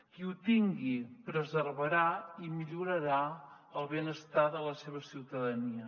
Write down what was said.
qui ho tingui preservarà i millorarà el benestar de la seva ciutadania